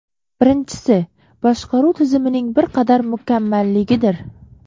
Birinchisi, boshqaruv tizimining bir qadar mukammalligidir.